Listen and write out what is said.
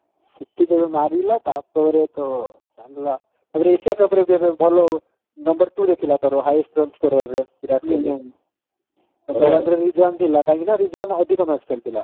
ସେଠି ଯେବେ ମାରିଲା ତାପରେ ତ ଚାଲିଲା ତାପରେ ବି aisa cup ରେ ଏବେ ଭଲ number two ରେ ଥିଲା ତାର highest run score କରିବାରେ ବିରାଟ କୋହଲି ଥିଲା କାହିଁକି ନା ଅଧିକ match ଖେଳିଥିଲା